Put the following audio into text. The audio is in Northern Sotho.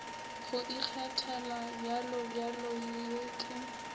go ikgethela bjalobjalo ye ke